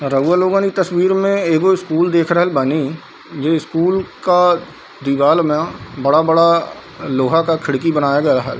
रउवा लोगन इ तस्वीर में एगो स्कूल देख रहल बानी ये स्कूल का दीवाल में बड़ा-बड़ा लोहा का खिड़की बनाया गया है।